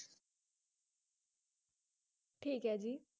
ਠੀਕ ਏ ਜੀ